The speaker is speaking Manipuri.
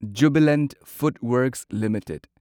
Jubilant FoodWorks limited